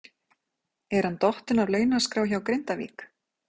Er hann dottinn af launaskrá hjá Grindavík?